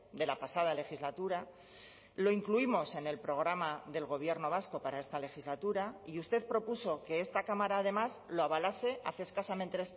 de la pasada legislatura lo incluimos en el programa del gobierno vasco para esta legislatura y usted propuso que esta cámara además lo avalase hace escasamente